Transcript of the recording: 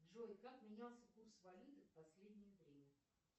джой как менялся курс валюты в последнее время